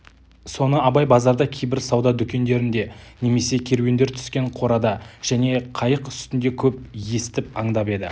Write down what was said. соны абай базарда кейбір сауда дүкендерінде немесе керуендер түскен қорада және қайық үстінде көп естіп аңдап еді